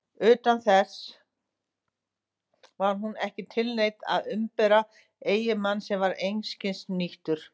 Þess utan: var hún ekki tilneydd að umbera eiginmann sem var einskis nýtur?